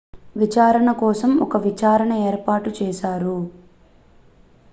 విచారణ కోసం ఒక విచారణ ఏర్పాటు చేశారు